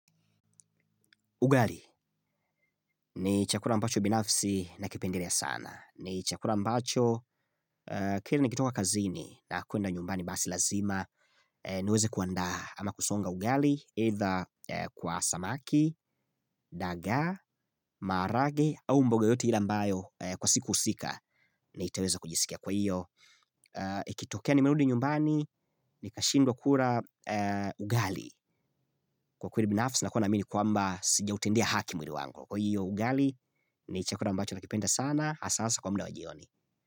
Ugali ni chakula ambacho binafsi nakipendelea sana. Ni chakula ambacho kila nikitoka kazini na kwenda nyumbani basi lazima niweze kuandaa ama kusonga ugali labda kwa samaki, dagaa, maharagwe au mboga yoyote ile ambayo kwa siku husika niteweza kujisikia. Kwa hivyo, ikitokea nimerudi nyumbani nikashindwa kula ugali kwa kweli binafsi nakuwa naamini kwamba sijautendea haki mwili wangu. Kwahivyo ugali, ni chakula ambacho nakipenda sana hasahasa kwa muda wa jioni.